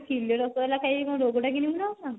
କିଲେ ରସଗୋଲା ଖାଇ କଣ ରୋଗଟା କିଣିବୁ ନ କଣ